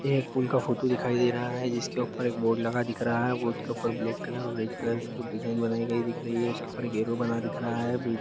ये एक पुल का फोटो दिखाई दे रहा है जिसके ऊपर एक बोर्ड लगा दिख रहा है बोर्ड के ऊपर ब्लेक कलर और औरेंजे की कुछ डिज़ाइन बनायीं गयी दिख रही है उसके ऊपर एक ऐरो बना दिख रहा है।